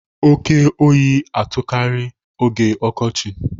Oke oyi na-atụkarị n'oge ọkọchị.